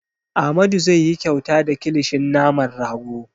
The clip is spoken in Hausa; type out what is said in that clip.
Amadu zai yi kyauta da kilishin naman rago.